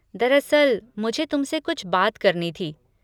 दरअसल, मुझे तुमसे कुछ बात करनी थी।